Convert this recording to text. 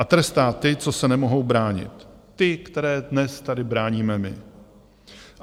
A trestá ty, co se nemohou bránit, ty, které dnes tady bráníme my.